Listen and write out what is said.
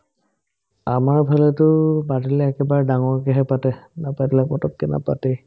আমাৰ ফালেটো মানুহ গিলাই একেবাৰে ডাঙৰকেহে পাতে নাপাত লাপাততকে নাপাতেই